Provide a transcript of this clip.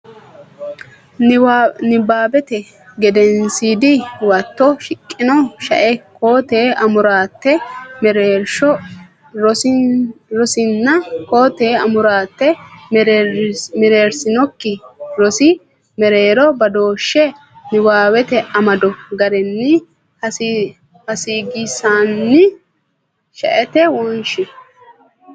Nabbawate Gedensiidi Huwato shiqqino shae koo tee amuraate mereersino rosinna koo tee amuraate mereersinokki rosi mereero badooshshe niwaawete amado garinni heessagisiissinanni shaete wonshe.